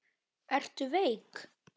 Ertu veik?